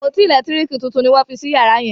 àpótí elekitiriki títún ní wón fí sí yàrá yen.